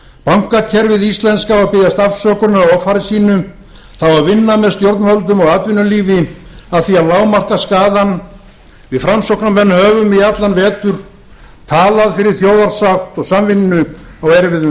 bankakerfið íslenska á að biðjast afsökunar á offari sínu það á að vinna með stjórnvöldum og atvinnulífi að því að lágmarka skaðann við framsóknarmenn höfum í allan vetur talað fyrir þjóðarsátt og samvinnu á erfiðum